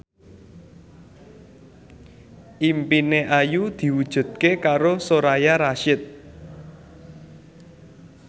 impine Ayu diwujudke karo Soraya Rasyid